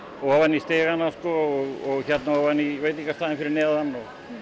ofan í stigana sko og hérna ofan í veitingastaðinn fyrir neðan